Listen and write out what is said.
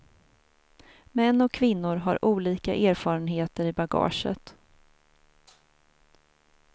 Män och kvinnor har olika erfarenheter i bagaget.